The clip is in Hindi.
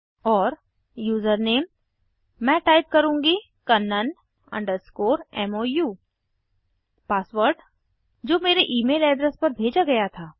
और यूजरनेम मैं टाइप करुँगी कन्नन mou पासवर्ड जो मेरे ईमेल एड्रेस पर भेजा गया था